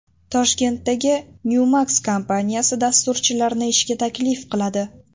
Toshkentdagi Newmax kompaniyasi dasturchilarni ishga taklif qiladi.